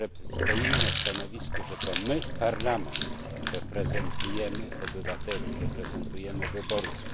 Stoimy na stanowisku, że to my, Parlament, reprezentujemy obywateli, reprezentujemy wyborców.